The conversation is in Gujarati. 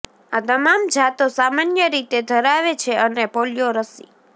આ તમામ જાતો સામાન્ય રીતે ધરાવે છે અને પોલિયો રસી